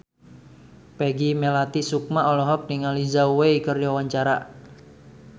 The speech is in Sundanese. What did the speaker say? Peggy Melati Sukma olohok ningali Zhao Wei keur diwawancara